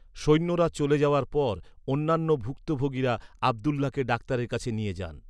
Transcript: সৈন্যরা চলে যাওয়ার পর, অন্যান্য ভুক্তভোগীরা আব্দুল্লাহকে ডাক্তারের কাছে নিয়ে যান।